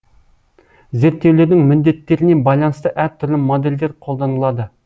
зерттеулердің міндеттеріне байланысты әр түрлі модельдер қолданылады